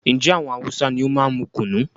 Njé àwọn Hausa ní o máa n mú kùnú?